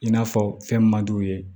I n'a fɔ fɛn man d'u ye